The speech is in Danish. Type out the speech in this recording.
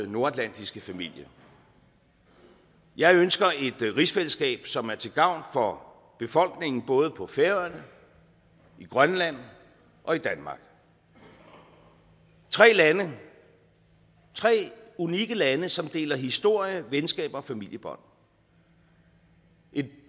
nordatlantiske familie jeg ønsker et rigsfællesskab som er til gavn for befolkningen både på færøerne i grønland og i danmark tre lande tre unikke lande som deler historie venskaber og familiebånd et